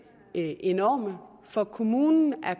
enorme for kommunen er